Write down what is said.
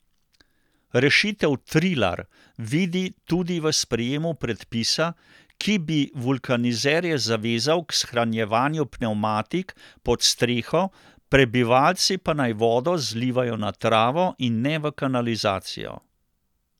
Rešitev Trilar vidi tudi v sprejemu predpisa, ki bi vulkanizerje zavezal k shranjevanju pnevmatik pod streho, prebivalci pa naj vodo zlivajo na travo in ne v kanalizacijo.